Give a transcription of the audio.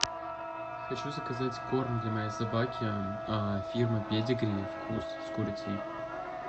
хочу заказать корм для моей собаки фирма педигри вкус с курицей